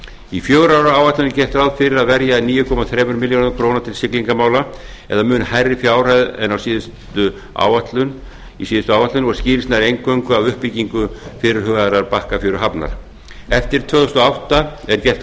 í fjögurra ára áætlun er gert ráð fyrir að verja níu komma þremur milljörðum króna til siglingamál eða mun hærri fjárhæð en í síðustu áætlun í síðustu áætlun skýrist það eingöngu af fyrirhugaðri uppbyggingu bakkafjöruhafnar eftir tvö þúsund og átta er gert